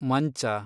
ಮಂಚ